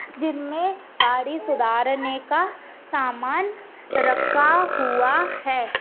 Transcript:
जिनमे गाड़ी सुधारने का सामान रखा हुआ है।